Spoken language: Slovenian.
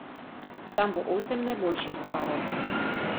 Tam bo osem najboljših parov.